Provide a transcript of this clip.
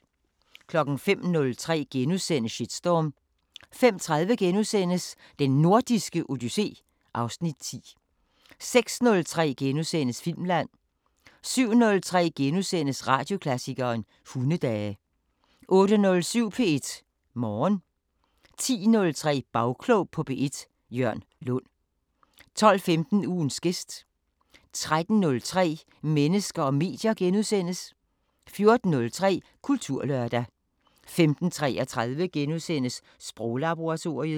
05:03: Shitstorm * 05:30: Den Nordiske Odyssé (Afs. 10)* 06:03: Filmland * 07:03: Radioklassikeren: Hundedage * 08:07: P1 Morgen 10:03: Bagklog på P1: Jørn Lund 12:15: Ugens gæst 13:03: Mennesker og medier * 14:03: Kulturlørdag 15:33: Sproglaboratoriet *